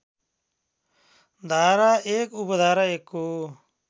धारा १ उपधारा १ को